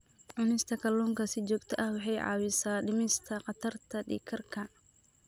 Cunista kalluunka si joogto ah waxay caawisaa dhimista khatarta dhiig karka.